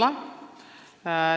Ei ole.